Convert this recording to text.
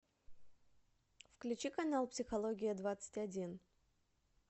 включи канал психология двадцать один